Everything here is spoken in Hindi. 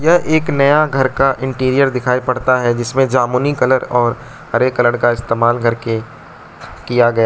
यह एक नया घर का इंटीरियर दिखाई पड़ता है जिसमें जामुनी कलर और हरे कलर का इस्तेमाल करके किया गया --